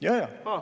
Jaa-jaa!